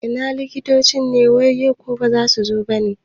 Ina likitocin ne yau, ko baza su zo bane?